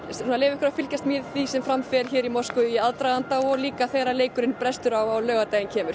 að leyfa ykkur að fylgjast með því sem fram fer hér í Moskvu í aðdraganda og líka þegar leikurinn brestur á á laugardaginn kemur